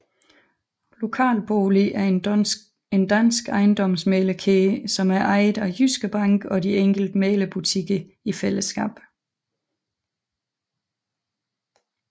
LokalBolig er en dansk ejendomsmæglerkæde som er ejet af Jyske Bank og de enkelte mæglerbutikker i fællesskab